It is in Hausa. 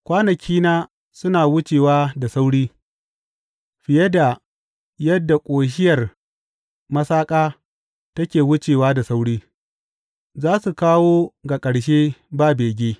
Kwanakina suna wucewa da sauri, fiye da yadda ƙoshiyar masaƙa take wucewa da sauri, za su kawo ga ƙarshe ba bege.